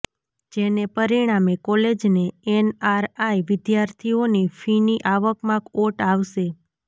જેને પરિણામે કોલેજને એનઆરઆઇ વિદ્યાર્થીઓની ફીની આવકમાં ઓટ આવશે